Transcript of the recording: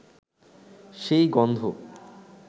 সেই গন্ধ